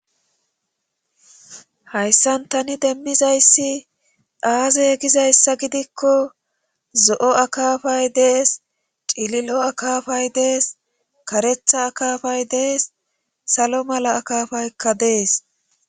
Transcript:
hayssan tani demmizayssi aaze gizayssa gidikko zo7o akafay dees cililo akafay dees karetha akafay dees salo mala akafaykka dees